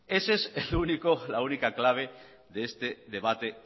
esa es la única clave de este debate